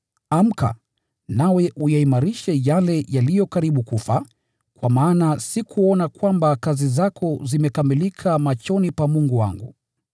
Amka! Nawe uyaimarishe yale yaliyosalia na yaliyo karibu kufa, kwa maana sikuona kwamba kazi zako zimekamilika machoni pa Mungu wangu.